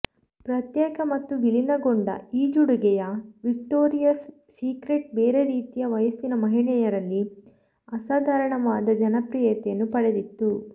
ಪ್ರತ್ಯೇಕ ಮತ್ತು ವಿಲೀನಗೊಂಡ ಈಜುಡುಗೆಯ ವಿಕ್ಟೋರಿಯಾಸ್ ಸೀಕ್ರೆಟ್ ಬೇರೆ ರೀತಿಯ ವಯಸ್ಸಿನ ಮಹಿಳೆಯರಲ್ಲಿ ಅಸಾಧಾರಣವಾದ ಜನಪ್ರಿಯತೆಯನ್ನು ಪಡೆದಿತ್ತು